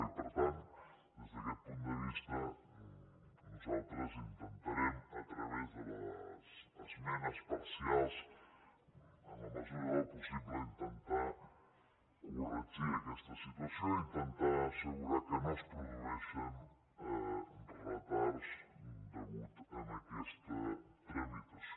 i per tant des d’aquest punt de vista nosaltres intentarem a través de les esmenes parcials en la mesura del possible intentar corregir aquesta situació intentar assegurar que no es produeixin retards a causa d’aquesta tramitació